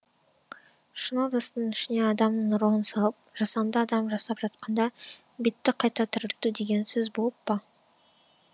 шыны ыдыстың ішіне адамның ұрығын салып жасанды адам жасап жатқанда битті қайта тірілту деген сөзболып па